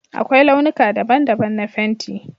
Akwai launuka daban-daban na fenti